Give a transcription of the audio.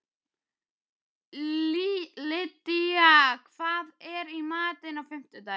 Lydía, hvað er í matinn á fimmtudaginn?